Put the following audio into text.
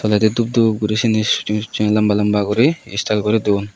toledi dup dup guri siyen he suseng suseng lamba lamba guri style guri don.